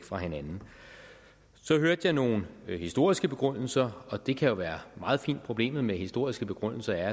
fra hinanden så hørte jeg nogle historiske begrundelser og det kan jo være meget fint men problemet med historiske begrundelser er